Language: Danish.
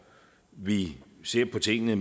vi ser på tingene